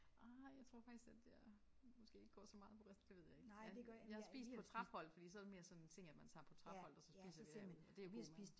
Ah jeg tror faktisk at jeg måske ikke går så meget på det ved jeg ikke. Jeg jeg har spist på Trapholt fordi så er det mere sådan en ting at man tager på Trapholt og så spiser vi der og det er jo god mad